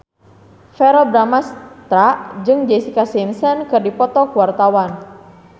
Verrell Bramastra jeung Jessica Simpson keur dipoto ku wartawan